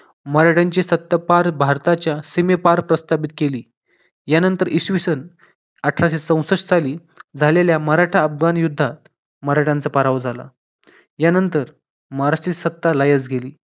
मराठ्यांची सत्ता पार भारताच्या सीमेपार प्रस्थापित केली यानंतर इसवी सन अठराशे चौसष्ठ साली झालेल्या मराठा अफगान युद्धात मराठ्यांचा पराभव झाला यानंतर महाराष्ट्रातील सत्ता लाहीस गेली